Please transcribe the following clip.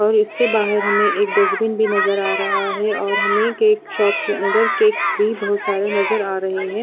और इसके बाहर हमे एक डसबिन भी नज़र आ रहा है और हमे एक शॉप के अन्दर केक्स भी बोहोत सारे नज़र आ रहे है।